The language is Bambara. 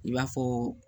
I b'a fɔ